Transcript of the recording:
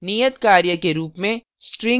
नियत कार्य के रूप में